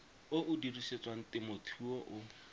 o o dirisetswang temothuo o